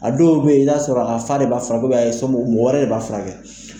A dɔw be yen, i b'a sɔrɔ a fa de b'a furakɛ mɔgɔ wɛrɛ de b'a furakɛ